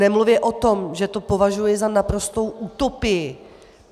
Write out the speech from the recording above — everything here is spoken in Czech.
Nemluvě o tom, že to považuji za naprostou utopii.